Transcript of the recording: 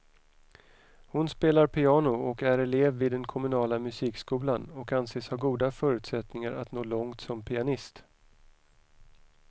Hon spelar piano och är elev vid den kommunala musikskolan och anses ha goda förutsättningar att nå långt som pianist.